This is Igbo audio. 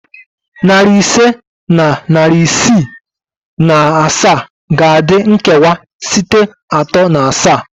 Nari ise na iri isii na asaa ga-adị nkewa site atọ na asaa